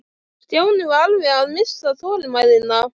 Stjáni var alveg að missa þolinmæðina.